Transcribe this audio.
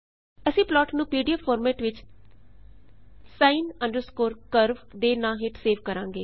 ਅਸੀਂ ਪਲਾਟ ਨੂੰ PDF format ਵਿੱਚ sin curve ਦੇ ਨਾਂ ਹੇਠ ਸੇਵ ਕਰਾਂਗੇ